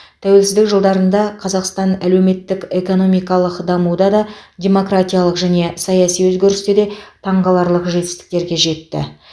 тәуелсіздік жылдарында қазақстан әлеуметтік экономикалық дамуда да демократиялық және саяси өзгерісте де таңғаларлық жетістіктерге жетті